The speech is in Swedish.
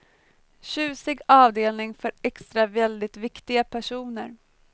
Tjusig avdelning för extra väldigt viktiga personer.